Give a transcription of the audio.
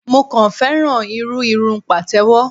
Mo kàn féràn irú irun Pàtẹ́wọ́.